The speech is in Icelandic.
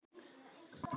Þú ert frábær leikari.